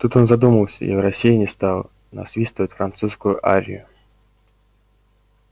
тут он задумался и в рассеянии стал насвистывать французскую арию